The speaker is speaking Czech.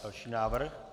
Další návrh.